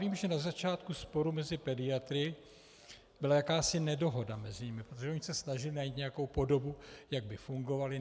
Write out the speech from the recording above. Vím, že na začátku sporu mezi pediatry byla jakási nedohoda mezi nimi, protože oni se snažili najít nějakou podobu, jak by fungovali.